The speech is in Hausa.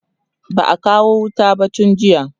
ba'a kawo wuta ba tun jiya